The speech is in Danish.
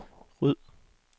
ryd